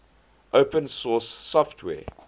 open source software